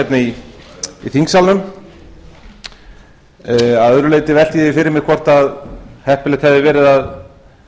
hérna í þingsalnum að öðru leyti velti ég því fyrir mér hvort heppilegt hefði verið að